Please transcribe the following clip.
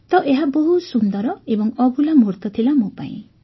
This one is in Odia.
ତ ଏହା ବହୁତ ସୁନ୍ଦର ଓ ଅଭୁଲା ମୁହୂର୍ତ୍ତ ଥିଲା ମୋ ପାଇଁ